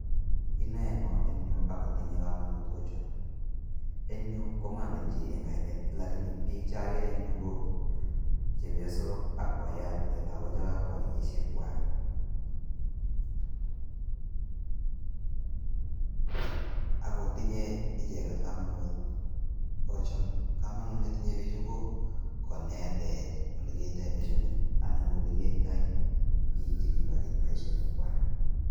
Inoe ngo en yu agotinye kamanut ocho? Eng yu ko mange chi eng kainet lagini biichagere eng yu ko chepiosok ak boiyot ne tagu che kagoba kenyisiek kwak ak ki tinye icheget kamanut ocho? Kamanut ne tinyei biichu ko konetech olekiyoito boisionik anan ko olegiyoito biik che kipo keny boisionik kwai.